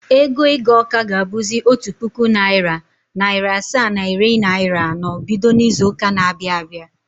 Ego ịga Ọka ga-abụzị otu puku naịra, naịra asaa na iri naịra anọ bido n’izu ụka na-abịa abịa.